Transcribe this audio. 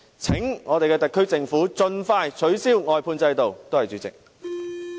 請我們的特區政府盡快取消外判制度，多謝主席。